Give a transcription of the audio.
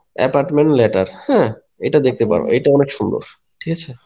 "apartment letter হ্যাঁ এটা দেখতে পারো এটা অনেক সুন্দর. ঠিকআছে?"